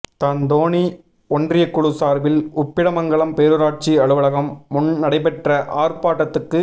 தாந்தோணி ஒன்றியக்குழு சாா்பில் உப்பிடமங்கலம் பேரூராட்சி அலுவலகம் முன் நடைபெற்ற ஆா்ப்பாட்டத்துக்கு